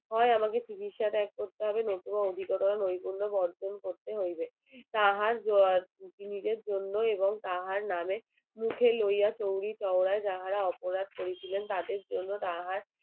হয় আমাকে চিকিৎসা ত্যাগ করতে হবে নয়তো আমাকে অভিজ্ঞতা নৈপুণ্য অর্জন করিতে হইবে তাহার নিজের জন্য এবং তাহার নাম মুখে লইয়া অপরাধ করিয়াছিলেন